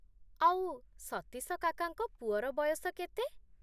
ଆଉ, ସତୀଶ କାକାଙ୍କ ପୁଅର ବୟସ କେତେ?